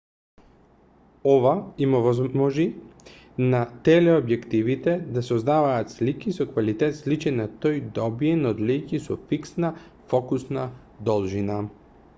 ова им овозможи на телеобјективите да создаваат слики со квалитет сличен на тој добиен од леќи со фиксна фокусна должина